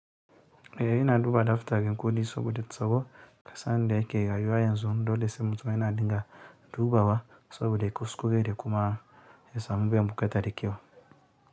Eh, ina duba adopter ne kawai dai saboda tsaro musamman yanda ake rayuwa yanzu dole se mutum yana da. Dubawa saboda kuskure da kuma s samu biyan buƙata mei kyau.